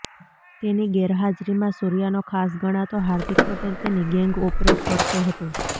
તેની ગેર હાજરીમાં સૂર્યાનો ખાસ ગણાતો હાર્દિક પટેલ તેની ગેંગ ઓપરેટ કરતો હતો